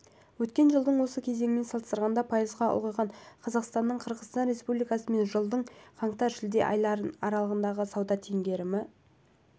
өткен жылдың осы кезеңімен салыстырғанда пайызға ұлғайған қазақстанның қырғызстан республикасымен жылдың қаңтар-шілде аралығындағы сауда теңгерімі